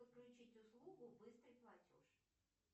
подключить услугу быстрый платеж